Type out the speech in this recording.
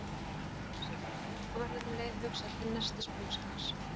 spyr ég sjálfan mig, og verður um leið hugsað til nestisbauks hans.